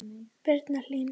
Birna Hlín.